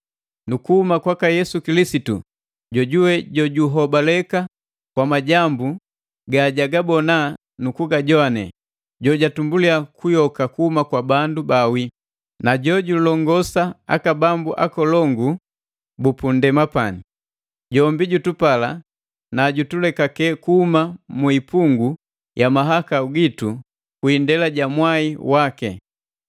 nu kuhuma kwaka Yesu Kilisitu, jojuwe jojuhobaleka kwa majambu ga jagabona nu kugajowane, jojutumbuli kuyoka kuhuma kwa bandu baawi, na jojulongosa aka bambu nkolongu bu punndema pani. Jombi jutupala, na jutulekake kuhuma muipungu ya mahakau gitu kwi indela ja mwai waki,